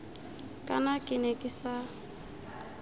kana ke ne ke sa